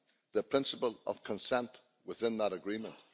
the principle of consent within that agreement.